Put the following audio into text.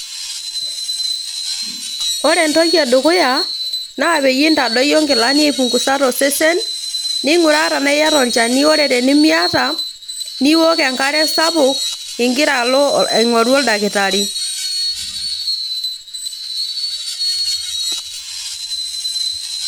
Ore entoki edukuya naa pintadoyio nkilani aipungusa tosesen ninguraa tenaa iyata olchani ore tenimiata niok enkare sapuk ingira alo aingoru oldakitari.